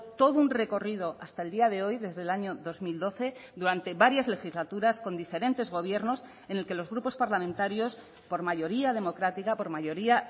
todo un recorrido hasta el día de hoy desde el año dos mil doce durante varias legislaturas con diferentes gobiernos en el que los grupos parlamentarios por mayoría democrática por mayoría